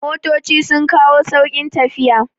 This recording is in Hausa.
Motoci sun kawo sauƙin tafiya